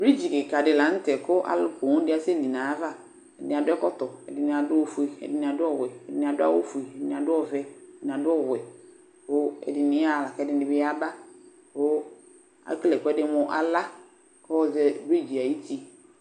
Brij kika dila ŋtɛ kũ alu ku owu di aséli nu ayaʋa Ɛdini adu ɛkɔtɔ ɛdini adu ofué, ɛdini adu ɔwuɛ, ɛdini adu awu fué, ɛdini adu ɔʋɛ, ɛdini adu ɔvuɛ, ɛdini yaha ku ɛdini bi yaba Ekelé ɛkuɛdi mu ala nu ivɨ ayuti